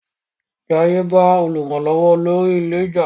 Jaiye ba olùrànlówó olórí ilé já.